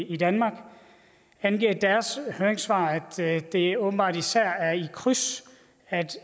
i danmark angiver i deres høringssvar at det åbenbart især er i kryds at